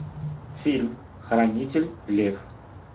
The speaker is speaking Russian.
фильм хранитель лев